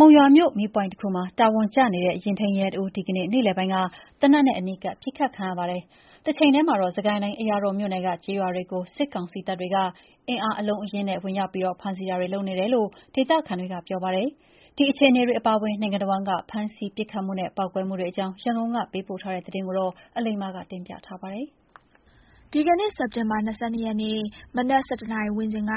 မုံရွာမြို့ မီးပွိုင့်တစ်ခုမှာ တာဝန်ကျနေတဲ့ ယာဉ်ထိန်းရဲတစ်ဦး ဒီကနေ့ နေ့လည်ပိုင်းက သေနက်နဲ့အနီးကပ်ပစ်ခတ်ခံရပါတယ်။ တချိန်တည်းမှာတော့ စစ်ကိုင်းတိုင်း အရာတော်မြို့နယ်က ကျေးရွာတွေကို စစ်ကောင်စီတပ်တွေက အင်အား အလုံးအရင်းနဲ့ ဝင်ရောက်ပြီး ဖမ်းဆီးတာတွေ လုပ်နေတယ်လို့ ဒေသခံတွေကပြောပါတယ်။ ဒီအခြေအနေတွေ အပါအဝင် နိုင်ငံတစ်ဝန်းက ဖမ်းဆီးမှု ပစ်ခတ်မှုနဲ့ ပေါက်ကွဲမှုတွေ အကြောင်း ရန်ကုန်က ပေးပို့ထားတာကို အလိမ္မာပြောပြပါမယ်။ ဒီကနေ့ စက်တင်ဘာ ၂၂ ရက်နေ့ မနက် ၁၁နာရီ ဝန်းကျင်က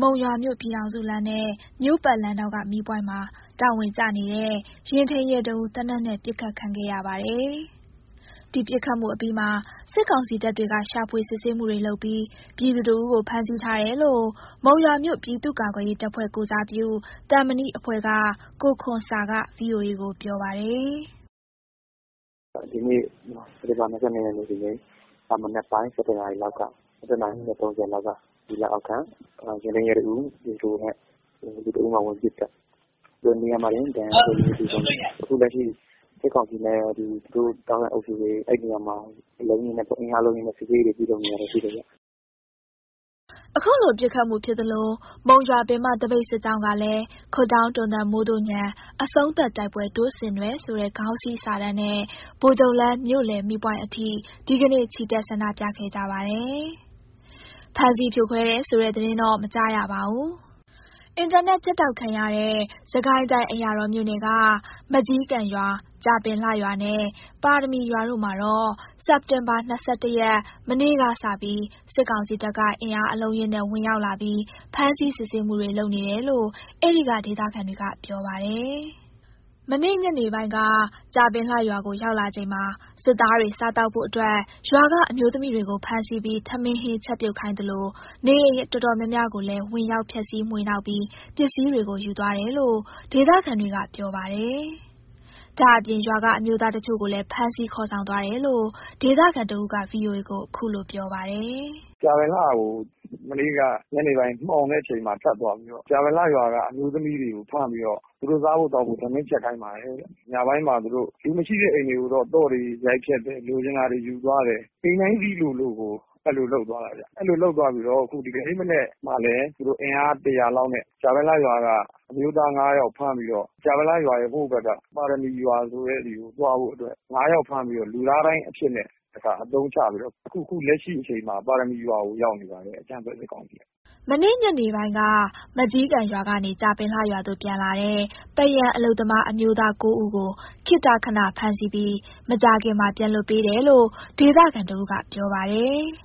မုံရွာမြို့ ပြည်ထောင်စုလမ်းနဲ့ မြို့ပတ်လမ်းထောင်က မီးပွိုင့်မှာ တာဝန်ကျနေတဲ့ ယာဉ်ထိန်းရဲ တစ်ဦး သေနတ်နဲ့ ပစ်ခတ်ခံရပါတယ်။ ဒီပစ်ခတ်မှုအပြီးမှာ စစ်ကောင်စီတပ်တွေက ရှာဖွေစစ်ဆေးမှုတွေ လုပ်ပြီး ပြည်သူတစ်ဦးကို ဖမ်းဆီးထားတယ်လို့ မုံရွာမြို့ ပြည်သူ့ကာကွယ်ရေးတပ်ဖွဲ့ ကိုယ်စားပြု သံမဏိအဖွဲ့က ကိုခွန်ဆာက VOA ကို ပြောပါတယ်။ “ဒီနေ့ စက်တင်ဘာ ၂၂ ဒီနေ့၊ မနက်ပိုင်း ၁၁ နာရီခွဲလောက်က စစ်ကောင်စီ လက်အောက်ခံ ယာဉ်ထိန်းရဲ တစ်ဦးကို ပြည်သူတစ်ယောက်က ဝင်ပစ်သတ်သွားတာ၊ နေရာမှာတင် သေဆုံးတယ်။ အခု စစ်ကောင်စီနဲ့ ပတ်သက် ဆက်စပ်တဲ့ အုပ်စုတွေ အဲ့ဒီနေရာမှာ အင်အား အလုံးအရင်းနဲ့ စစ်ဆေးရေး လုပ်နေတာတွေ ရှိတယ်ဗျ။” အခုလိုပစ်ခတ်မှုဖြစ်သလို မုံရွာပင်မ သပိတ်စစ်ကြောင်းကလည်း ‘ခွပ်ဒေါင်းတွန်သံ မိုးသို့ညံ အဆုံးသတ်တိုက်ပွဲ တို့ဆင်နွဲ’ ဆိုတဲ့ ခေါင်းစည်းစာတန်းနဲ့ ဗိုလ်ချုပ်လမ်း မြို့လယ်မီးပွိုင့်အထိ ဒီကနေ့ ချီတက် ဆန္ဒပြခဲ့ကြပါတယ်။ ဖမ်းဆီးဖြိုခွဲတယ်ဆိုတဲ့သတင်းတော့ မကြားရပါဘူး။ အင်တာနက်ဖြတ်တောက်ခံရတဲ့ စစ်ကိုင်းတိုင်း အရာတော်မြို့နယ်က မကျီးကန်ရွာ၊ ကြာပင်လှရွာနှင့် ပါရမီရွာတို့မှာတော့ စက်တင်ဘာ ၂၁ ရက် မနေ့ကစပြီး စစ်ကောင်စီတပ်က အင်အားအလုံးအရင်းနဲ့ ဝင်ရောက်လာပြီး ဖမ်းဆီး စစ်ဆေးမှုတွေ လုပ်နေတယ်လို့ အဲ့ဒီက ဒေသခံတွေက ပြောပြပါတယ်။ မနေ့ညနေပိုင်းက ကြာပင်လှရွာကို ရောက်လာချိန်မှာ စစ်သားတွေ စားသောက်ဖို့အတွက် ရွာကအမျိုးသမီး တွေကို ဖမ်းဆီးပြီး ထမင်းဟင်းချက်ပြုတ်ခိုင်းသလို နေအိမ်အတော်များများ ကိုလည်း ဝင်ရောက်ဖျက်စီး မွှေနှောက်ပြီး ပစ္စည်းတွေကို ယူသွားတယ်လို့ ဒေသခံတွေက ပြောပါတယ်။ ဒါ့အပြင် ရွာကအမျိုးသားတချို့ကိုလည်း ဖမ်းဆီးခေါ်ဆောင်သွားတယ်လို့ ဒေသခံတစ်ဦးက VOA ကို ခုလို ပြောပြပါတယ်။ “ကြာပင်လှကို မနေ့က ညနေပိုင်း မှောင်တဲ့အခါမှာ ထပ်သွားပြီးတော့ ကြာပင်လှရွာက အမျိုးသမီး တွေကို ဖမ်းပြီးတော့ သူတို့ စားဖို့သောက်ဖို့ထမင်းချက်ခိုင်းပါတယ်တဲ့၊ ညပိုင်းမှာ သူတို့ လူမရှိတဲ့ အိမ်တွေကိုတော့ သော့တွေရိုက်ဖျက်တယ် လိုချင်တာတွေယူသွားတယ် အိမ်တိုင်းစေ့လိုလိုကို အဲ့လိုလုပ်သွားတယ်ဗျ၊ အဲ့လိုလုပ်သွားပြီးတော့ အခု ဒီကနေ့မနက်မှာလည်း သူတို့ အင်အား ၁၀၀ လောက်နဲ့ ကြာပင်လှရွာက အမျိုးသား ၅ ယောက်ကို ဖမ်းပြီးတော့ ကြာပင်လှရွာရဲ့ ဟိုဘက်က ပါရမီရွာဆိုတဲ့ဆီကို သွားဖို့အတွက် ၅ယောက်ဖမ်းပြီးတော့ လူသားဒိုင်းအဖြစ်နဲ့ တစ်ခါအသုံးချ ပြီးတော့ အခု အခု လက်ရှိအချိန်မှာ ပါရမီရွာကို ရောက်နေပါတယ် အကြမ်းဖက်စစ်ကောင်စီက။” မနေ့ညနေပိုင်းက မကျီးကန်ရွာကနေ ကြာပင်လှရွာသို့ ပြန်လာတဲ့ ပန်းရံအလုပ်သမားအမျိုးသား ၉ ဦးကို ခေတ္တခဏ ဖမ်းဆီးပြီး မကြာခင်မှာ ပြန်လွှတ်ပေးတယ်လို့ ဒေသခံတစ်ဦးက ပြောပါတယ်။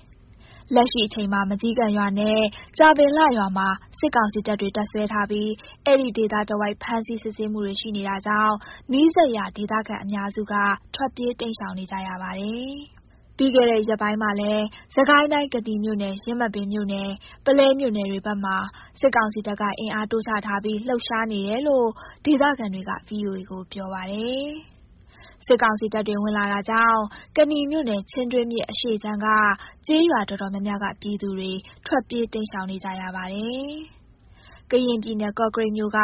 လက်ရှိချိန်မှာ မကျီးကန်ရွာနဲ့ ကြာပင်လှရွာမှာ စစ်ကောင်စီတပ်တွေက တပ်စွဲထားပြီး အဲ့ဒီဒေသတစ်ဝိုက် ဖမ်းဆီးစစ်ဆေးမှုတွေ ရှိနေတာကြောင့် နီးစပ်ရာ ဒေသခံအများစုက ထွက်ပြေးတိမ်ရှောင်နေကြရပါတယ်။ ပြီးတဲ့ခဲ့ ရက်ပိုင်းမှာလည်း စစ်ကိုင်းတိုင်း ကနီမြို့နယ်၊ ယင်းမာပင်မြို့နယ်၊ ပုလဲမြို့နယ်တွေဘက်မှာ စစ်ကောင်စီတပ်က အင်အားတိုးချထားပြီး လှုပ်ရှားနေတယ်လို့ ဒေသခံတွေက VOA ကိုပြောပါတယ်။ စစ်ကောင်စီတပ်တွေ ဝင်လာတာကြောင့် ကနီမြို့နယ် ချင်းတွင်းမြစ်အရှေ့ခြမ်းကကျေးရွာတော်တော်များများက ပြည်သူတွေ ထွက်ပြေးတိမ်းရှောင်နေကြရပါတယ်။ ကရင်ပြည်နယ် ကော့ကရိတ်မြို့က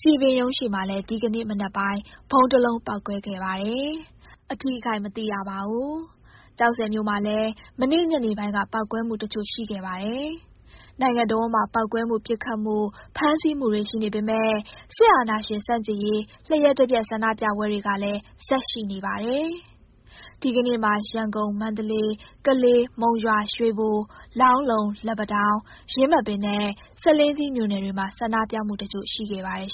စည်ပင်ရုံးရှေ့မှာလည်း ဒီကနေ့ မနက်ပိုင်း ဗုံးတစ်လုံးပေါက်ကွဲခဲ့ပါတယ်။ အထိအခိုက်မသိရပါဘူး။ ကျောက်ဆည်မြို့မှာလည်း မနေ့ညနေပိုင်းက ပေါက်ကွဲမှု တစ်ချို့ ရှိခဲ့ပါတယ်။ နိုင်ငံတစ်ဝန်းမှာ ပေါက်ကွဲမှု ပစ်ခတ်မှု ဖမ်းဆီးမှုတွေ ရှိနေပေမယ့် စစ်အာဏာရှင် ဆန့်ကျင်ရေး လျှပ်တပြတ်ဆန္ဒပြပွဲတွေကလည်း ဆက်ရှိနေပါတယ်။ ဒီကနေ့မှာ ရန်ကုန်၊ မန္တလေး၊ ကလေး၊ မုံရွာ၊ ရွေဘို၊ လောင်းလုံ၊ လက်ပံတောင်း၊ ယင်းမာပင်နဲ့ ဆားလင်းကြီးမြို့နယ်တွေမှာ ဆန္ဒပြမှုတချို့ ရှိခဲ့ပါတယ်